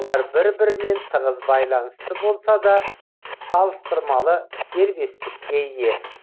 олар бір бірімен тығыз байланысты болса да салыстырмалы дербестікке ие